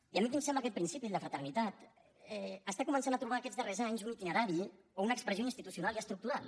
i a mi em sembla aquest principi el de fraternitat que comença a trobar aquests darrers anys un itinerari o una expressió institucional i estructural